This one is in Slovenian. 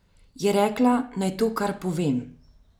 Je rekla, naj to kar povem.